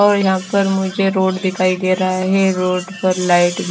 और यहां पर मुझे रोड दिखाई दे रहा है रोड पर लाइट।